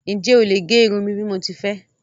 Ǹjẹ́ ó lè gé irun mí bí mo ti fé?